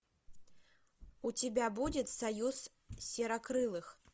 у тебя будет союз серокрылых